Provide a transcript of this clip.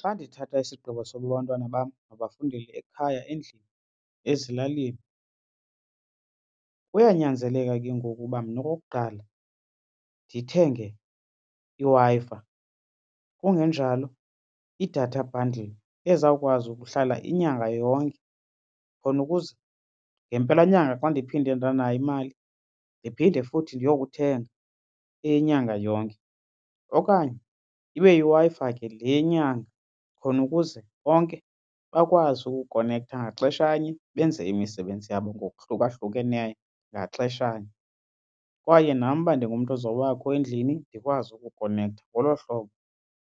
Xa ndithatha isigqibo sokuba abantwana bam mabafundele ekhaya endlini ezilalini kuyanyanzeleka ke ngoku uba mna okokuqala ndithenge iWi-Fi, kungenjalo i-data bundle ezawukwazi ukuhlala inyanga yonke khona ukuze ngempelanyanga xa ndiphinde ndanayo imali ndiphinde futhi ndiyokuthenga eyenyanga yonke. Okanye ibe yiWi-Fi ke le yenyanga khona ukuze bonke bakwazi ukukonektha ngaxeshanye benze imisebenzi yabo ngokuhlukahlukeneyo ngaxeshanye kwaye nam uba ndingumntu ozawubakho endlini ndikwazi ukukhonektha. Ngolo hlobo